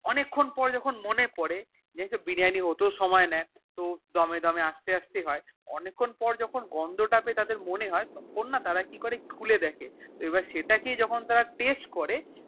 অনেক্ষণ পর যখুন মনে পরে জানিস তো বিরিয়ানি হতেও সময় নিয়ে তো দোমে দোমে আস্তে আস্তে হয়ে পিনাক পর যখুন গন্ধ তা পেয়ে তাদের মনেহয় তখন না তারা কি করে খুলে দেখে এবার সেটা কেই তারা যখুন Taste করে